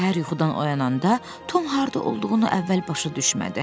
Səhər yuxudan oyananda Tom harda olduğunu əvvəl başa düşmədi.